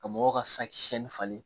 Ka mɔgɔw ka sakisɛ falen